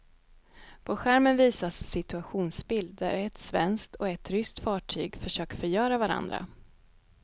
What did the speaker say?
På skärmen visas en situationsbild där ett svenskt och ett ryskt fartyg försöker förgöra varandra.